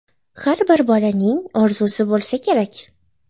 Har bir bolaning orzusi bo‘lsa kerak.